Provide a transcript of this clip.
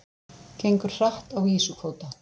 Gengur hratt á ýsukvóta